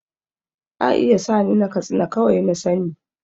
A iya sa ni na katsina kawai na sa ni